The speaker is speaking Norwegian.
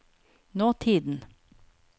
nåtiden